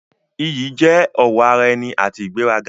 Iyì jẹ́ ọ̀wọ̀ ara ẹni àti ìgbéraga.